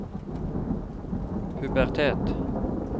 pubertet